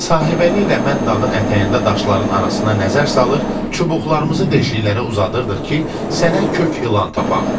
Sahibəli ilə mən dağın ətəyində daşların arasına nəzər salır, çubuqlarımızı deşiklərə uzadırdıq ki, sənə kök ilan tapaq.